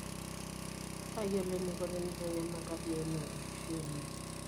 Tayiolo eneiko teneitanyamal tabia ino enkishui ino.